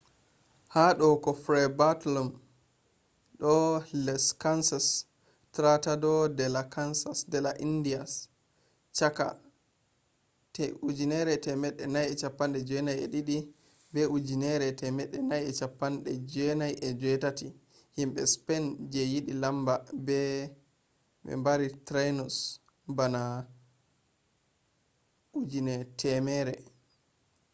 ha do ko fray bartolome de las casas tratado de las indias chaka 1492 be 1498 himbe spain je yidi lama be bari tainos bana 100,000